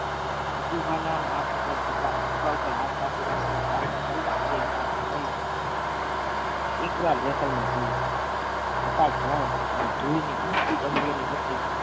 સતુભા ના હાથ ઉપર ખભા ઉપર હાથ રાખીને ચાલતા ચાલતા પીઆઇ સાહેબે કહ્યું એકવાર જેસલમેર જજો અને ધૂળની ઉડતી ડમરીઓની વચ્ચે